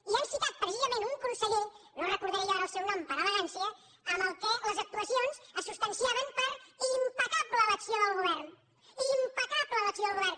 i han citat precisament un conseller no recordaré jo ara el seu nom per elegància amb qui les actuacions es substanciaven per impecable l’acció del govern impecable l’acció del govern